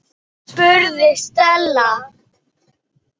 spurði Stella.